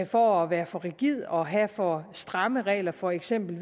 for at være for rigid og for at have for stramme regler for eksempel